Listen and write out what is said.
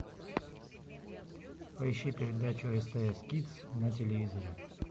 поищи передачу стс кидс на телевизоре